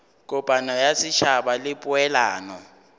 kopano ya setšhaba le poelano